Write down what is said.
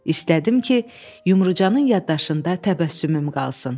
İstədim ki, Yumrucanın yaddaşında təbəssümüm qalsın.